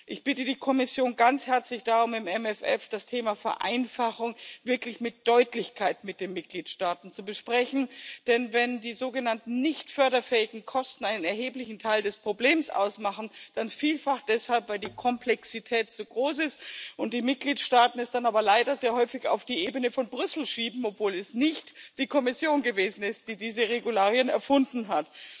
Ich bitte die Kommission ganz herzlich, im MFR das Thema Vereinfachung wirklich mit Deutlichkeit mit den Mitgliedstaaten zu besprechen, denn wenn die sogenannten nicht förderfähigen Kosten einen erheblichen Teil des Problems ausmachen, dann vielfach deshalb, weil die Komplexität zu groß ist und die Mitgliedstaaten es dann aber leider sehr häufig auf die Ebene von Brüssel schieben, obwohl es nicht die Kommission gewesen ist, die diese Regularien erfunden hat.